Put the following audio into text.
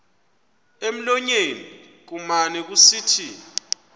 emlonyeni kumane kusithi